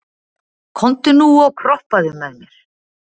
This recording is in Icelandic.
komdu nú og kroppaðu með mér